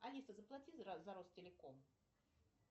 алиса заплати за ростелеком